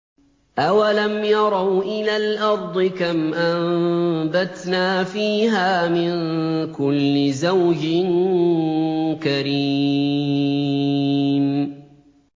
أَوَلَمْ يَرَوْا إِلَى الْأَرْضِ كَمْ أَنبَتْنَا فِيهَا مِن كُلِّ زَوْجٍ كَرِيمٍ